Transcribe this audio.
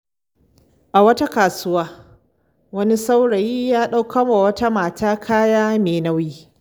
A wata kasuwa, wani saurayi ya ɗaukar wa wata mata kaya mai nauyi.